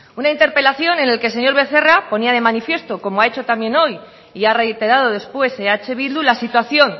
una interpelación en el que el señor becerra ponía de manifiesto como ha hecho también hoy y ha reiterado después eh bildu la situación